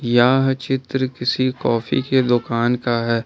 यह चित्र किसी कॉफी के दुकान का है।